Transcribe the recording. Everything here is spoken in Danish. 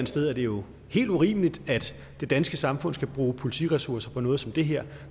sted er det jo helt urimeligt at det danske samfund skal bruge politiressourcer på sådan noget som det her